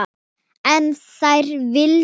En þær lifðu báðar.